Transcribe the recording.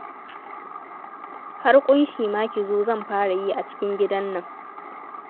Har ƙunshi ma ki zo zan fara yi a cikin gidan nan